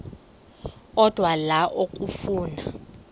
odwa la okafuna